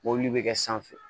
Mɔbili bɛ kɛ sanfɛ